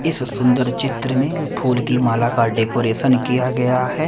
इस सुंदर चित्र में फूल की माला का डेकोरेशन किया गया है।